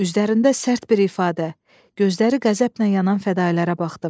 Üzlərində sərt bir ifadə, gözləri qəzəblə yanan fədailərə baxdım.